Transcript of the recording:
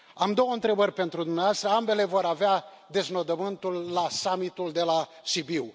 Am două întrebări pentru dumneavoastră, ambele vor avea deznodământul la summitul de la Sibiu.